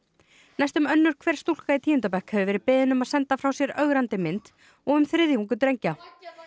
næstum önnur hver stúlka í tíunda bekk hefur verið beðin um að senda frá sér ögrandi mynd og um þriðjungur drengja